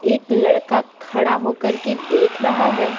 एक लड़का खड़ा होकर के देख रहा है।